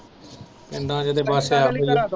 ਪਿੰਡਾਂ ਦੇ